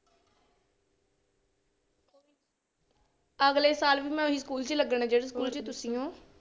ਅਗਲੇ ਸਾਲ ਵੀ ਮੈਂ ਉਹੀ ਸਕੂਲ ਚ ਲੱਗਣਾ ਜਿਹੜੇ ਸਕੂਲ ਚ ਤੁਸੀਂ ਹੋ।